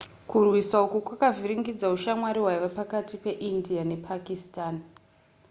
kurwisa uku kwakavhiringidza ushamwari hwaiva pakati peindia nepakistan